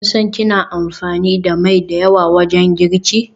Kin san kina amfani da mai da yawa wajen girki?